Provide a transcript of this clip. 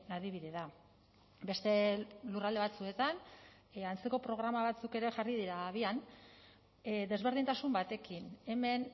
adibide da beste lurralde batzuetan antzeko programa batzuk ere jarri dira abian desberdintasun batekin hemen